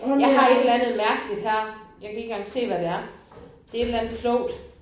Jeg har et eller andet mærkeligt her. Jeg kan ikke engang se hvad det er. Det er et eller andet klogt